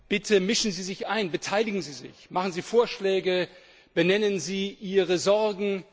Bitte mischen Sie sich ein, beteiligen Sie sich, machen Sie Vorschläge, benennen Sie Ihre Sorgen!